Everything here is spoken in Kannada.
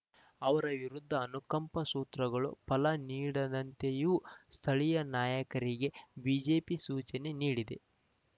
ಅವರ ವಿರುದ್ಧ ಅನುಕಂಪ ಸೂತ್ರಗಳು ಫಲ ನೀಡದಂತೆಯೂ ಸ್ಥಳೀಯ ನಾಯಕರಿಗೆ ಬಿಜೆಪಿ ಸೂಚನೆ ನೀಡಿದೆ